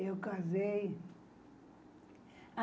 Eu casei.